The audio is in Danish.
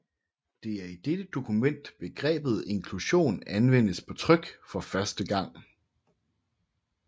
Det er i dette dokument begrebet inklusion anvendes på tryk for første gang